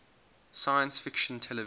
science fiction television